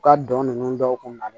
U ka don nunnu dɔw kun na